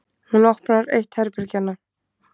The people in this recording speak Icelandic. Hún opnar eitt herbergjanna.